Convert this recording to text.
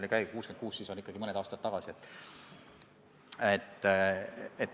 Kui ta on 66, siis ikkagi mõni aasta tagasi.